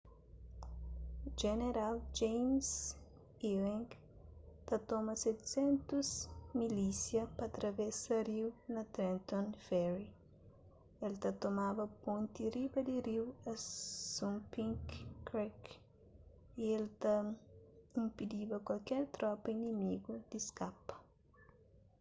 jeneral james ewing ta toma 700 milísia pa travesa riu na trenton ferry el ta tomaba ponti riba di riu assunpink creek y el ta inpidiba kualker tropa inimigu di skapa